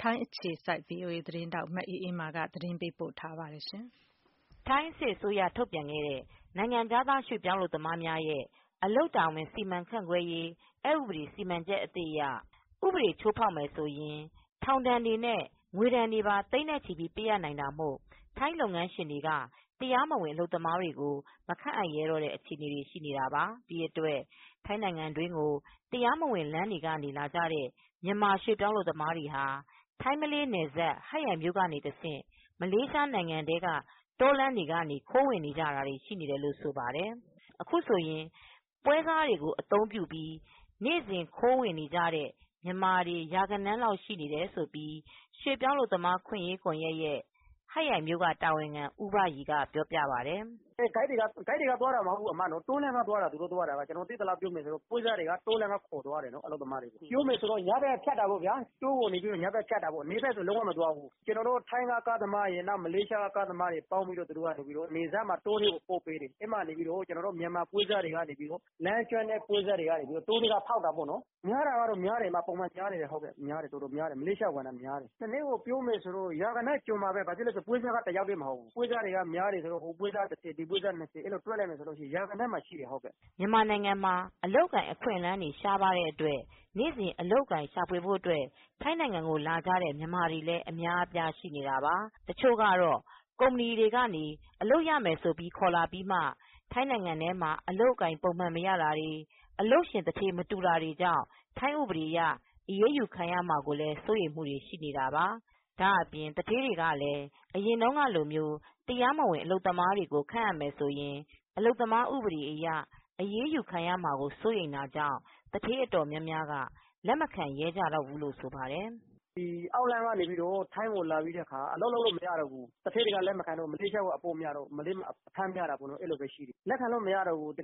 ထိုင်းအခြေစိုက် သတင်းထောက် မအေးအေးမာကသတင်းပေးပို့ထားပါတယ်။ ထိုင်းစစ်အစိုးရထုတ်ပြန်ခဲ့တဲ့ နိုင်ငံခြားသားရွေ့ပြောင်းအလုပ်သမားများရဲ့အလုပ်တာဝန် စီမံခန့်ခွဲရေး အက်ဥပဒေစီမံချက်အသစ်အရ ဥပဒေချိုးဖောက်ရင် ထောင်ဒဏ်တွေနဲ့ ငွေဒဏ်တွေသိန်းနဲ့ချီပေးရနိုင်တာမို့ ထိုင်းလုပ်ရှင်တွေကတရားမဝင်အလုပ်သမားတွေကို မခန့်အပ်ရဲတော့တဲ့အခြေအနေရှိနေတာပါ ဒီအတွက် ထိုင်းနိုင်ငံတွင်းကို တရားမဝင်လမ်းကနေ လာကြတဲ့မြန်မာရွှေ့ ပြောင်းအလုပ်သမားတွေဟာ ထိုင်းမလေးနယ်စပ် ဟပ်ရိုင်မြိုကနေ တဆင့် မလေးရှားနိုင်ငံထဲကိုတောလမ်းတွေကနေ ခိုးဝင်နေကြတာတွေရှိနေတယ်လို့ဆိုပါတယ်။ အခုဆိုရင် ပွဲစားတွေကိုအသုံးပြုပြီး နေစဉ်ခိုးဝင်တဲ့မြန်မာတွေ ရာဂဏန်းလောက်ရှိနေတယ်လို့ ရွေပြောင်းအလုပ်သမားအခွင့်ရေး ကွန်ယက်ရဲ့ဟပ်ရိုင်မြိုကတာဝန်ခံ ဦးဘရီကပြောပြပါတယ် " ဂိတ်တွေကသွားတာမဟုတ်ဘူး တောထဲကနေ သွားကြတာ။ ကျနော်သိသလောက်ပြောမယ်ဆိုရင် တောလမ်းကနေ ခေါ်သွားတယ်၊ အလုပ်သမားတွေကို တောကို ညဘက်ကိုဖြတ်တာ နေဘက်ကိုမဖြတ်ဘူး။ ထိုင်းကကားသမားရယ် မလေးရှား ကားသမားတွေက တောလမ်းကို ပို့ပေးတယ်။ မြန်မာပွဲစားတွေက လမ်းကျွမ်းကျင်တဲ့ပွဲစားတွေက တောလမ်းကနေ ဖောက်သွားတာပေါ့ ။ များတာတော့များတယ် ပုံမှန်များတယ် မလေးရှားကိုဝင်တာက ရာဂဏန်းမှာရှိတယ်" မြန်မာနိုင်ငံအလုပ်အကိုင်အခွင့်အလမ်း ရှားပါးတဲ့အတွက် နေစဉ်အလုပ်အကိုင်ရှာဖွေဖို့ထိုင်းကိုလာကြတဲ့မြန်မာတွေ လည်းအများအပြားရှိနေတာပါ။ တချိုကတော့ကုမ္ပဏီတွေက အလုပ်ရမယ်ဆိုပြီးခေါ်လာပြီးမှ ထိုင်းထဲမှာ အလုပ်အကိုင်ပုံမှန်မရတာတွေ အလုပ်ရှင်သူဌေးမတူတာတွေကြောင့် ထိုင်းဥပဒေအရ အရေးယူခံရမှာကိုလည်းစိုးရိမ်မူတွေရှိနေတာပါ။ ဒါအပြင်သူဌေးတွေကလည်း အရင်တုန်းကလို တရားမဝင်အလုပ်သမားတွေကိုခန့်အပ်မယ်ဆိုရင် အလုပ်သမားဥပဒေအရ အရေးယူခံရမှာကိုစိုးရိမ်တာကြောင့် သူဌေးအတော်များများက လက်မခံရဲကြတော့ဘူးလို့ဆိုပါတယ်။ "အောက်လမ်းကနေ ထိုင်းကိုလာတော့ အလုပ်လုပ်လို့ မရတော့ဘူး။ သူဌေးတွေကလက်မခံတော့ မလေးရှားကိုအပို့ များတာပေါ့နော်။ လက်ခံလို့မရတော့ဘူး